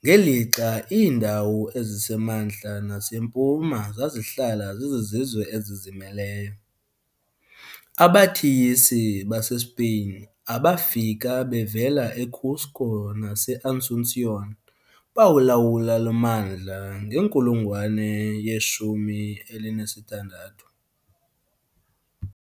ngelixa iindawo ezisemantla nasempuma zazihlala zizizwe ezizimeleyo. "Abathiyisi" baseSpeyin abafika bevela eCusco naseAsunción bawulawula lo mmandla ngenkulungwane ye-16.